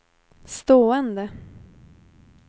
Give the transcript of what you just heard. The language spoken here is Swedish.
stående